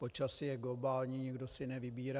Počasí je globální, nikdo si nevybírá.